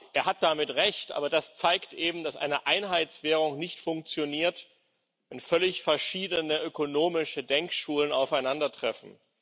Er hat damit Recht, aber das zeigt eben, dass eine Einheitswährung nicht funktioniert, wenn völlig verschiedene ökonomische Denkschulen aufeinandertreffen.